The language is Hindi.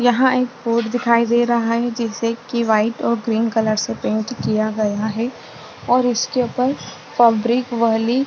यहाँ एक बोर्ड दिखाई दे रहा है जिसे की वाइट और ग्रीन कलर से पेंट किया गया है और उसके ऊपर फॅब्रिक वली--